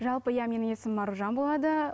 жалпы иә менің есімім аружан болады